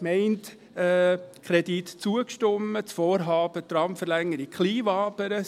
Im Vorstoss geht es ja nur um die Tramverlängerung Kleinwabern.